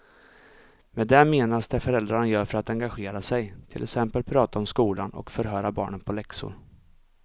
Med det menas det föräldrarna gör för att engagera sig, till exempel prata om skolan och förhöra barnen på läxor.